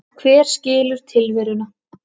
Hver skilur tilveruna?